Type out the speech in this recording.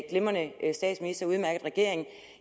glimrende statsminister med en udmærket regering